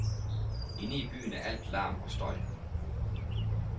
Inde i byen er alt larm og støj.